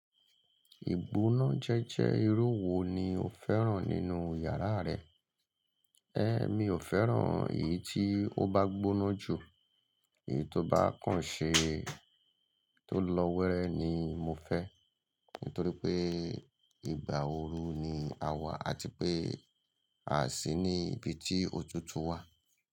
Ìgbóná jẹ́jẹ́ irú wo ni o fẹ́ràn nínú yàrá rẹ? Ẹ́, mi ò fẹ́ràn èyí tí ó bá gbóná jù, èyí tó bá kàn ṣe, tó lọ wẹ́rẹ́ ni mo fẹ́. Nítorí pé ìgbà ooru ni a wà àti pé a sì ní ibi tí òtútù wà.